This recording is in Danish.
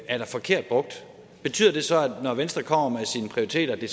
er da forkert brugt betyder det så når venstre kommer med sine prioriteter at det